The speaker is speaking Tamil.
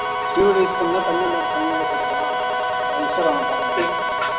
steroid use பண்ண ஒரு பையன் வேற செத்துட்டான் instagram ல பாத்தேன் நான்